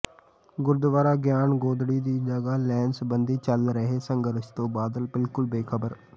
ਗੁਰਦੁਆਰਾ ਗਿਆਨ ਗੋਦੜੀ ਦੀ ਜਗ੍ਹਾ ਲੈਣ ਸਬੰਧੀ ਚੱਲ ਰਹੇ ਸੰਘਰਸ਼ ਤੋਂ ਬਾਦਲ ਬਿਲਕੁਲ ਬੇਖ਼ਬਰ